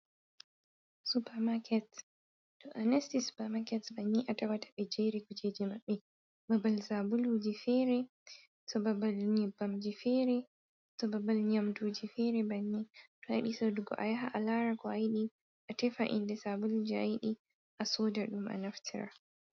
Supamaket to a nasti Supamaket banni a tawata ɓe jeri kujeji maɓɓe babal sabulu ji fere, to babal nyebbamji fere, to babal nyamduji fere. Bannin to a yiɗi sodugo a yaha a lara ko a yiɗi a tefa inde sabulu je a yiɗi a soda ɗum a naftira.